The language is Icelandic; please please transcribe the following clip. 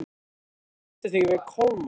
Þú stendur þig vel, Kolmar!